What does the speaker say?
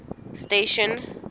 station